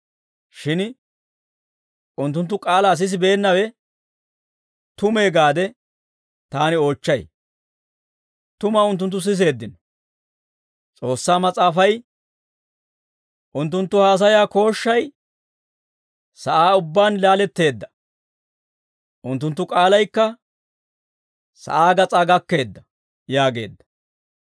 Shin unttunttu k'aalaa sisibeennawe tumee gaade taani oochchay. Tuma unttunttu siseeddino; S'oossaa Mas'aafay, «Unttunttu haasayaa kooshshay sa'aa ubbaan laaletteedda; unttunttu k'aalaykka sa'aa gas'aa gakkeedda» yaageedda.